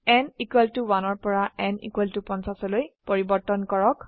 n 1 পৰা n 50 লৈ পৰিবৰ্তন কৰক